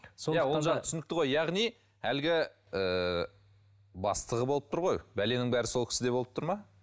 түсінікті ғой яғни әлгі ііі бастығы болып тұр ғой бәленің бәрі сол кісіде болып тұр ма